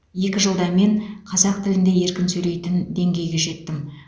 екі жылда мен қазақ тілінде еркін сөйлейтін деңгейге жеттім